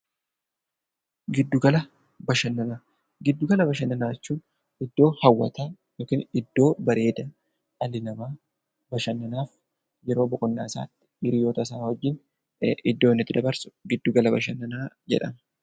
Giddu gala bashannanaa jechuun iddoo hawwataa yookiin iddoo bareedaa dhalli namaa bashannanaaf yeroo boqonnaa isaa hiriyyoota isaa wajjin iddoo inni itti dabarsu gidduu gala bashannanaa jedhama.